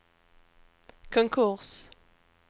konkurs